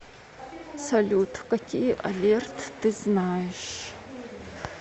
салют какие алерт ты знаешь